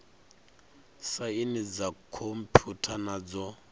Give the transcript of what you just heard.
saini dza khomphutha na dzo